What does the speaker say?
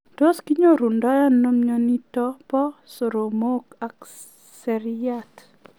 Tos kinyorundoi anoo mionitok poo soromok ak siryat?